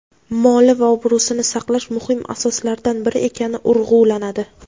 moli va obro‘sini saqlash muhim asoslardan biri ekani urg‘ulanadi.